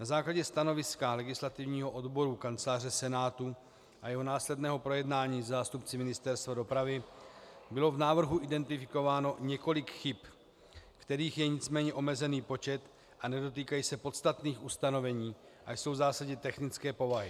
Na základě stanoviska Legislativního odboru Kanceláře Senátu a jeho následného projednání se zástupci Ministerstva dopravy bylo v návrhu identifikováno několik chyb, kterých je nicméně omezený počet a nedotýkají se podstatných ustanovení a jsou v zásadě technické povahy.